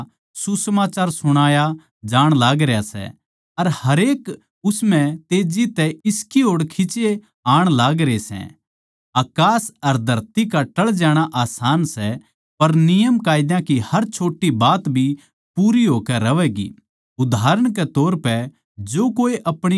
जब तक यूहन्ना आया जिब ताहीं मूसा के नियमकायदे अर नबी का प्रभाव माणसां पै रह्या उस बखत तै परमेसवर के राज्य का सुसमाचार सुणाया जाण लागरा सै अर हरेक उस म्ह तेज्जी तै इसकी ओड़ खिचे आण लागरे सै